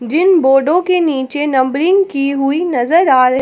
जिन बोर्डों के नीचे नंबरिंग की हुई नजर आ--